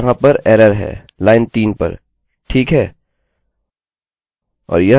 अतः यहाँ पर एरर है लाइन 3 पर ठीक है